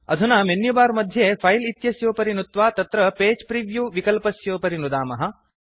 अधुना मेन्युबार मध्ये फिले इत्यस्योपरि नुत्वा तत्र पगे प्रिव्यू विकल्पस्योपरि नुदामः